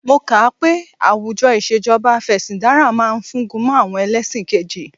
Mo kà á pé àwùjọ ìṣèjọba Afẹ̀sìndarí ma fúngun mọ́ àwọn ẹlẹ́ṣin kejì